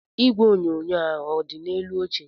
Igwe onyonyo a ọ dị n'elu oche?